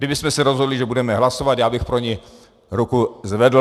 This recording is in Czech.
Kdybychom se rozhodli, že budeme hlasovat, já bych pro ni ruku zvedl.